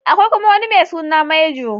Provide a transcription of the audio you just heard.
Akwai kuma wani mai suna Major.